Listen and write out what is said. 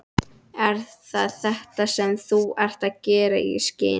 Er það þetta, sem þú ert að gefa í skyn?